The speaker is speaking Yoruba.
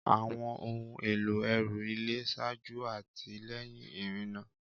Àwọn ohun èlò ẹrù ilé ṣáájú àti lẹ́yìn ìrìnnà.